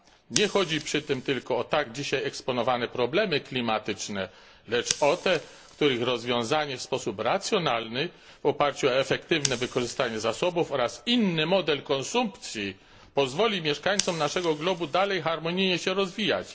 Nie chodzi przy tym tylko o tak dzisiaj eksponowane problemy klimatyczne, lecz o te, których rozwiązanie w sposób racjonalny w oparciu o efektywne wykorzystanie zasobów oraz inny model konsumpcji, pozwoli mieszańcom naszego globu dalej harmonijnie się rozwijać.